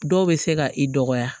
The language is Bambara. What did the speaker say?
Dɔw bɛ se ka i dɔgɔya